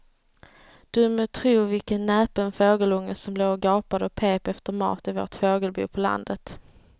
Du må tro vilken näpen fågelunge som låg och gapade och pep efter mat i vårt fågelbo på landet.